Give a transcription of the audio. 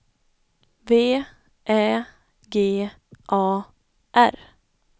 V Ä G A R